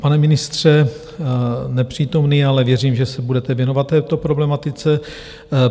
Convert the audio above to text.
Pane ministře nepřítomný, ale věřím, že se budete věnovat této problematice.